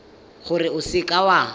gore o seka w a